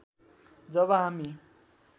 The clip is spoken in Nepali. जब हामी